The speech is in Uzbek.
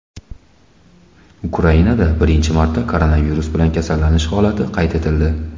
Ukrainada birinchi marta koronavirus bilan kasallanish holati qayd etildi .